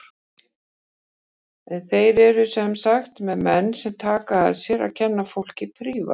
En þeir eru sem sagt með menn sem taka að sér að kenna fólki prívat.